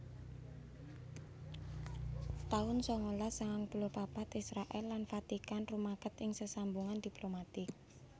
taun sangalas sangang puluh papat Israèl lan Vatikan rumaket ing sesambungan diplomatik